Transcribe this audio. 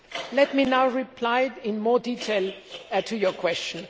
Let me now reply in more detail to your question.